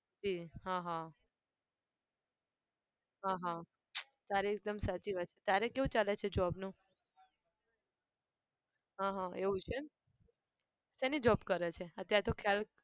જી હા હા હા હા તારી એકદમ સાચી વાત છે. તારે કેવું ચાલે છે job નું? હા હા એવું છે એમ. શેની job કરે છે? અત્યારે તો ખ્યાલ